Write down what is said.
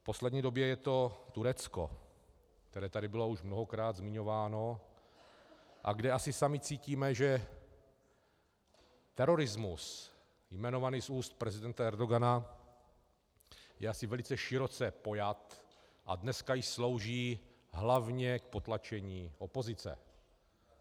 V poslední době je to Turecko, které tady bylo už mnohokrát zmiňováno a kde asi sami cítíme, že terorismus jmenovaný z úst prezidenta Erdogana je asi velice široce pojat a dneska již slouží hlavně k potlačení opozice.